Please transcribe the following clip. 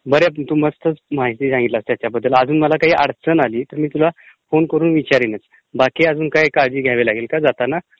बरीचं उपयुक्त माहिती सांगितलीस त्याच्याबद्दल. अजून मला काही अडचण आली तर मी तुला फोन करीन. बाकी अजून काय कळजी घ्यावी लागेल ता जाताना?